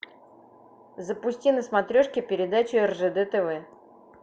запусти на смотрешке передачу ржд тв